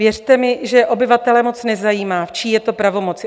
Věřte mi, že obyvatele moc nezajímá, v čí je to pravomoci.